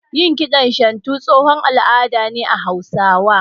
Yin kiɗan shantu tsohon al'ada ne na Hausawa